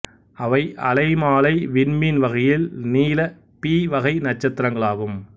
இவை அலைமாலை விண்மீன் வகையில் நீல பி வகை நட்சத்திரங்களாகும்